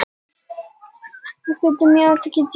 Þetta er það sem gítarar eiga yfirleitt sameiginlegt.